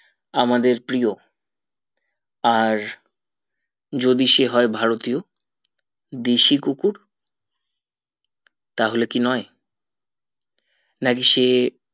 আমাদের প্রিয় আর যদি সে হয় ভারতীয় দেশি কুকুর তাহলে কি নোই নাকি সে